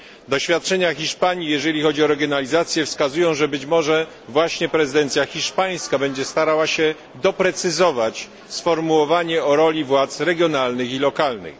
Doświadczenia Hiszpanii, jeśli chodzi o regionalizację, wskazują, że być może właśnie prezydencja hiszpańska będzie starała się doprecyzować sformułowanie o roli władz regionalnych i lokalnych.